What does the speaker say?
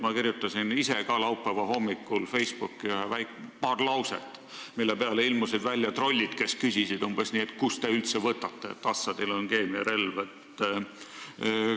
Ma kirjutasin ise ka laupäeva hommikul Facebooki paar lauset, mille peale ilmusid välja trollid, kes küsisid umbes nii, et kus te üldse võtate, et Assadil on keemiarelv.